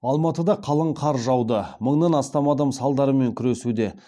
алматыда қалың қар жауды мыңнан астам адам салдарымен күресуде